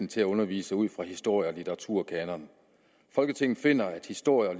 til at undervise ud fra historie og litteraturkanoner folketinget finder at historie og